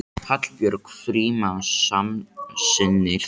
Hallbjörg Frímanns samsinnir þessu.